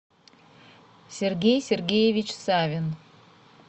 сергей сергеевич савин